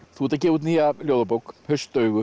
þú ert að gefa út nýja ljóðabók